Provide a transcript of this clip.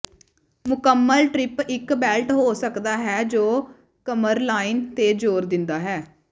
ਮੁਕੰਮਲ ਟ੍ਰਿਪ ਇਕ ਬੈਲਟ ਹੋ ਸਕਦਾ ਹੈ ਜੋ ਕਮਰਲਾਈਨ ਤੇ ਜ਼ੋਰ ਦਿੰਦਾ ਹੈ